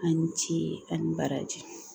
A ni ce a ni baraji